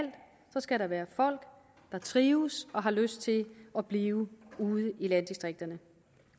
der skal være folk der trives og har lyst til at blive ude i landdistrikterne